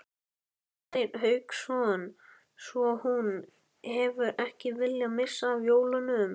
Hafsteinn Hauksson: Svo hún hefur ekki viljað missa af jólunum?